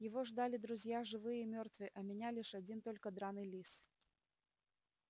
его ждали друзья живые и мёртвые а меня один лишь только драный лис